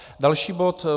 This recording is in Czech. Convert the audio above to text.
Další bod: